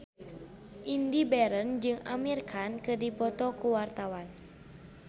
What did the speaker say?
Indy Barens jeung Amir Khan keur dipoto ku wartawan